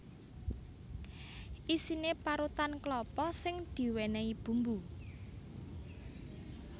Isiné parutan klapa sing diwènèhi bumbu